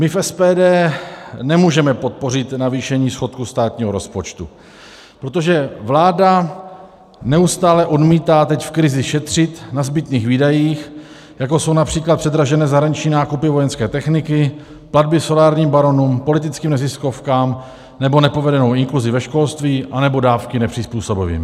My v SPD nemůžeme podpořit navýšení schodku státního rozpočtu, protože vláda neustále odmítá teď v krizi šetřit na zbytných výdajích, jako jsou například předražené zahraniční nákupy vojenské techniky, platby solárním baronům, politickým neziskovkám nebo nepovedenou inkluzi ve školství nebo dávky nepřizpůsobivým.